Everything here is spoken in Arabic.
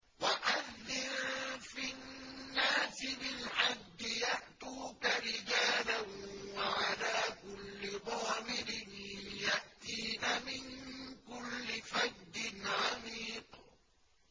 وَأَذِّن فِي النَّاسِ بِالْحَجِّ يَأْتُوكَ رِجَالًا وَعَلَىٰ كُلِّ ضَامِرٍ يَأْتِينَ مِن كُلِّ فَجٍّ عَمِيقٍ